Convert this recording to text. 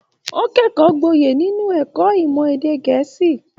O kẹkọọ gboye nínú ẹ̀kọ́ ìmọ̀ èdè gẹ̀ẹ́sì.